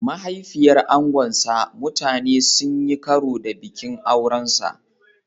Mahaifiyar angonsa mutane sun yi karo da bikin aurensa.